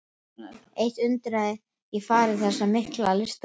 Eitt undraði mig í fari þessa mikla listamanns.